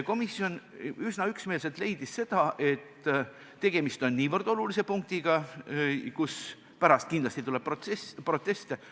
Komisjon leidis üsna üksmeelselt, et tegemist on niivõrd olulise punktiga, kus pärast tuleb kindlasti proteste.